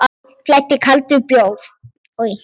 Um mig flæddi kaldur bjór.